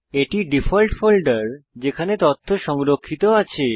এটি default folder যেখানে তথ্য সংরক্ষিত আছে